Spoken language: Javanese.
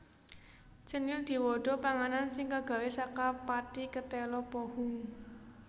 Cenil diwada panganan sing kagawé saka pathi ketéla pohung